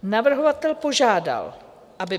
Navrhovatel požádal, aby